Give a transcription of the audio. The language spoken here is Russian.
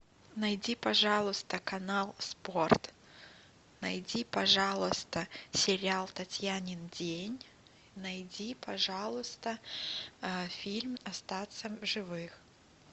найди пожалуйста канал спорт найди пожалуйста сериал татьянин день найди пожалуйста фильм остаться в живых